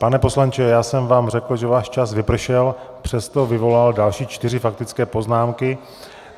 Pane poslanče, já jsem vám řekl, že váš čas vypršel, přesto vyvolal další čtyři faktické poznámky.